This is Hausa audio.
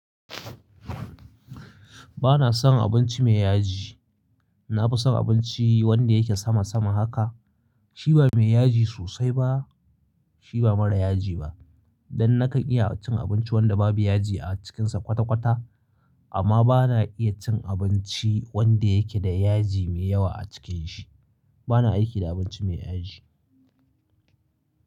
Ba na son abinci mai yaji. Na fi son abinci wanda yake sama sama haka. Shi ba mai yaji sosai ba, shi ba mara yaji ba. Dan na kan iya cin abinci wanda babu yaji a cikinsa kwata kwata. Amma ba na iya cin abinci wanda yake da yaji mai yawa a cikin shi. Ba na aiki da abinci mai yaji.